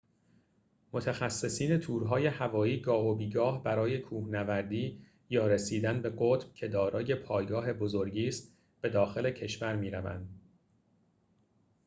متخصصین تورهای هوایی گاه و بیگاه برای کوهنوردی یا رسیدن به قطب که دارای پایگاه بزرگی ست به داخل کشور می‌روند